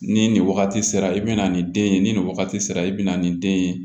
Ni nin wagati sera i bi na ni den ye ni nin wagati sera i bi na nin den ye